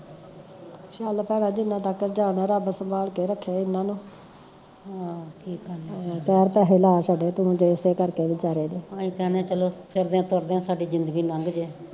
ਚੱਲ ਭੈਣਾਂ ਜਿੰਨਾ ਤੱਕ ਜਿਓਂਦਾਂ ਰੱਬ ਸਬਾਲ ਕੇ ਰੱਖੇ ਏਹਨਾ ਨੂੰ ਚਾਰ ਪੈਸੇ ਲਾ ਛੱਡੇ ਤੁਸਾਂ ਏਸੇ ਕਰਕੇ ਵਿਚਾਰੇ ਤੇ